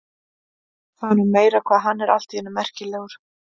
Það er nú meira hvað hann er allt í einu merkilegur.